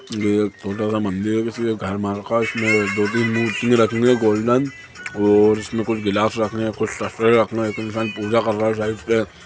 यह छोटा सा मंदिर है किसी के घर माल का इसमे दो-तीन मूर्ति रखी है गोल्डन और इसमे कुछ गिलास रखने का कुछ शककरे रखने इतनी सारी इसमे पूजा कर रहे हैं साइड से--